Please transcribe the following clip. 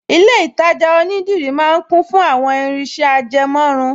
Ilé-ìtajà onídìrí máa ń kún fún àwọn irinṣẹ́ ajẹmọ́run